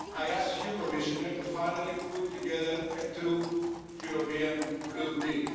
I ask you, Commissioner, to finally put together a true European Blue Deal.